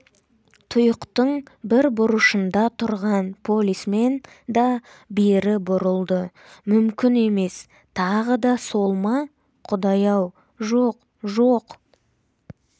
тұйықтың бір бұрышында тұрған полисмен да бері бұрылды мүмкін емес тағы да сол ма құдай-ау жоқ-жоқ